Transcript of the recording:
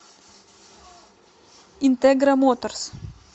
интегра моторс